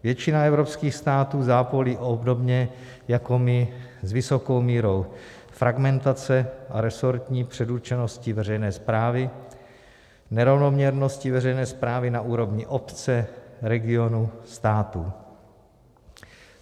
Většina evropských států zápolí obdobně jako my s vysokou mírou fragmentace a resortní předurčenosti veřejné správy, nerovnoměrnosti veřejné správy na úrovni obce, regionu, států.